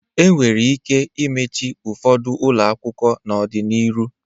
E nwere ike imeche ụfọdụ ụlọakwụkwọ dị enu n'ọdị n'iru.